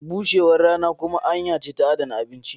bushewar rana kuma hanya ce ta adana abinci.